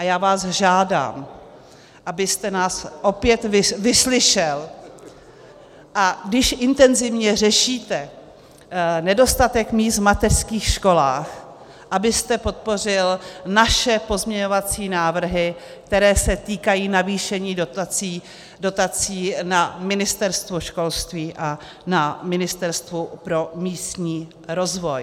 A já vás žádám, abyste nás opět vyslyšel, a když intenzivně řešíte nedostatek míst v mateřských školách, abyste podpořil naše pozměňovací návrhy, které se týkají navýšení dotací na Ministerstvu školství a na Ministerstvu pro místní rozvoj.